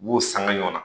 U b'u sanga ɲɔɔn